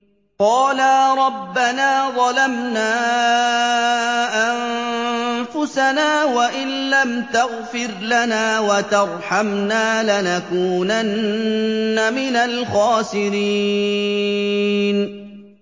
قَالَا رَبَّنَا ظَلَمْنَا أَنفُسَنَا وَإِن لَّمْ تَغْفِرْ لَنَا وَتَرْحَمْنَا لَنَكُونَنَّ مِنَ الْخَاسِرِينَ